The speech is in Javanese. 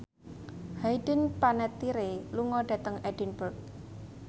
Hayden Panettiere lunga dhateng Edinburgh